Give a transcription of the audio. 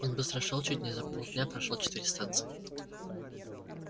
он быстро шёл чуть не за полдня прошёл четыре станции